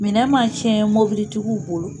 Minɛn man cɛn mobilitigiw bolo.